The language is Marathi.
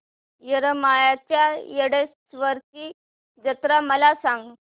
येरमाळ्याच्या येडेश्वरीची जत्रा मला सांग